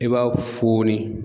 I b'a fooni